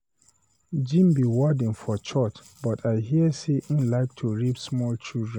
Jim be warden for church but I hear say he like to rape small children.